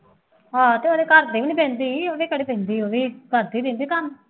ਹਾਂ ਤੇ ਉਹਦੇ ਘਰ ਤੇ ਨਹੀਂ ਪੈਂਦੀ ਉਹਦ ਘਰੇ ਪੈਂਦੀ ਹੈ ਵੇਖ ਕਰ ਤਾਂ ਦਿੰਦੀ ਹੈ ਕੰਮ